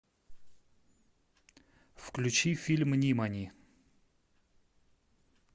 включи фильм нимани